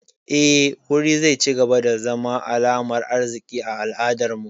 Eh, wuri zai cigaba da zama alamar arziki a al'adar mu